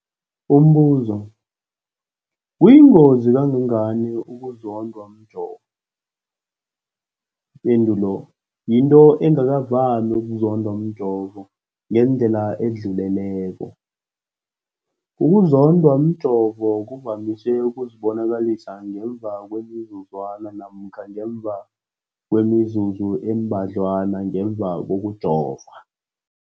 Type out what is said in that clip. Umbuzo, kuyingozi kangangani ukuzondwa mjovo? Ipendulo, yinto engakavami ukuzondwa mjovo ngendlela edluleleko. Ukuzondwa mjovo kuvamise ukuzibonakalisa ngemva kwemizuzwana namkha ngemva kwemizuzu embadlwana ngemva kokujova.